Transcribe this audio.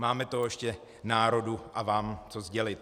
Máme toho ještě národu a vám co sdělit.